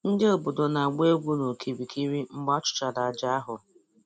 Ndị obodo na-agba egwu n'okirikiri mgbe a chụchara aja ahụ